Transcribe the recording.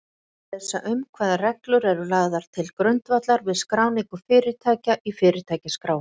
Hægt er lesa um hvaða reglur eru lagðar til grundvallar við skráningu fyrirtækja í Fyrirtækjaskrá.